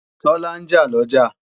Tọ́lá ń jà lọ́jà